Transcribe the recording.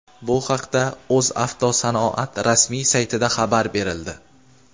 Bu haqda "O‘zavtosanoat" rasmiy saytida xabar berildi.